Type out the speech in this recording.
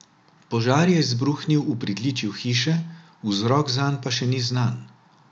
Požar je izbruhnil v pritličju hiše, vzrok zanj pa še ni znan.